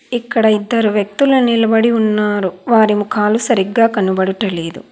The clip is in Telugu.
ఇక్కడ ఇద్దరు వ్యక్తుల నిలబడి ఉన్నారు వారి ముఖాలు సరిగ్గా కనబడుటలేదు.